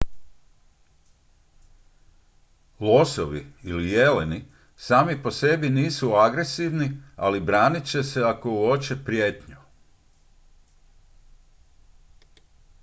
losovi ili jeleni sami po sebi nisu agresivni ali branit će se ako uoče prijetnju